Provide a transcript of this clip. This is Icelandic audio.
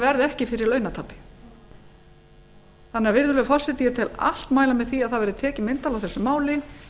verði ekki fyrir launatapi virðulegi forseti ég tel allt mæla með því að það verði tekið myndarlega á þessu máli